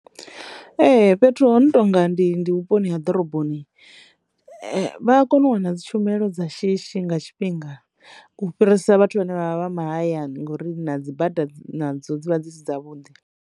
Ee, fhethu hono tonga ndi ndi vhuponi ha ḓoroboni vha kone u wana dzi tshumelo dza shishi nga tshifhinga u fhirisa vhathu vhane vha vha vha mahayani ngori na dzi bada dzo dzivha dzi si dza vhuḓi.